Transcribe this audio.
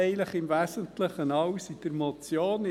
Eigentlich steht im Wesentlichen alles in der Motion.